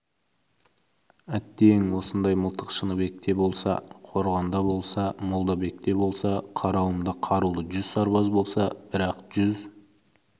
әттең осындай мылтық шыныбекте болса қорғанда болса молдабекте болса қарауымда қарулы жүз сарбаз болса бірақ жүз